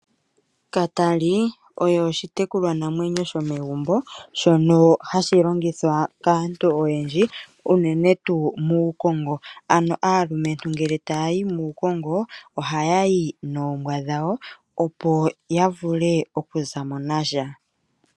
Katali oye oshitekulwanamwenyo sho megumbo shono hashi longithwa kaantu oyendji, unene tuu muukongo. Ano aalumentu ngele taya yi muukongo ohaya yi noombwa dhawo opo ya vule okuza mo nasha.